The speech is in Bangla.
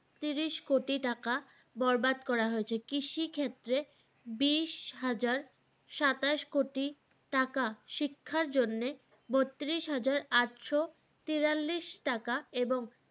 আটচল্লিশ কোটি টাকা বরবাদ করা হয়েছে কৃষি ক্ষেত্রে বিশ হাজার সাতাশ কোটি টাকা শিক্ষার জন্য বত্রিশ হাজার আটশ তিয়ালিস টাকা এবং